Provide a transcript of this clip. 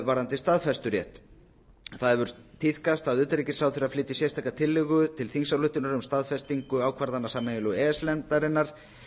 varðandi staðfesturétt það hefur tíðkast að utanríkisráðherra flytji sérstaka tillögu til þingsályktunar um staðfestingu ákvarðana sameiginlegu e e s nefndarinnar